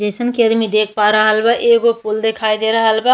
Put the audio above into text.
जइसन कि आदमी देख पा रहल बा एगो पूल देखाई दे रहल बा।